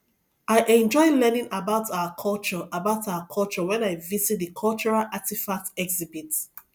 i enjoy learning about our culture about our culture when i visit the cultural artifacts exhibit